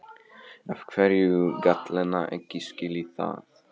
Af hverju gat Lena ekki skilið það?